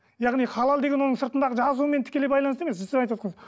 яғни халал деген оның сыртындағы жазуымен тікелей байланысты емес